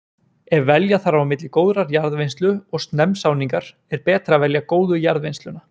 Ef velja þarf á milli góðrar jarðvinnslu og snemmsáningar er betra að velja góðu jarðvinnsluna.